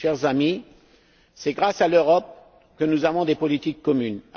Chers amis, c'est grâce à l'Europe que nous avons des politiques communes.